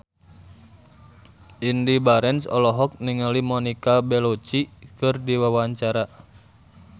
Indy Barens olohok ningali Monica Belluci keur diwawancara